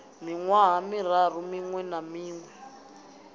miṅwaha miraru miṅwe na miṅwe